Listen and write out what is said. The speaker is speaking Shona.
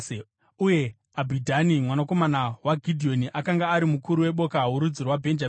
Uye Abhidhani mwanakomana waGidheoni akanga ari mukuru weboka rorudzi rwaBhenjamini.